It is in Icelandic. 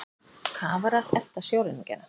Kafarar elta sjóræningjana